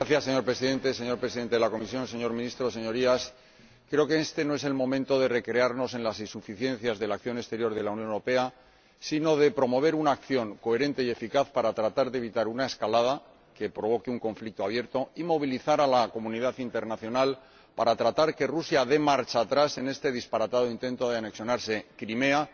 Señor Presidente, señor Presidente de la Comisión, señor Ministro, Señorías, creo que este no es el momento de recrearnos en las insuficiencias de la acción exterior de la Unión Europea, sino de promover una acción coherente y eficaz para tratar de evitar una escalada que provoque un conflicto abierto y movilizar a la comunidad internacional para tratar de que Rusia dé marcha atrás en este disparatado intento de anexionarse Crimea,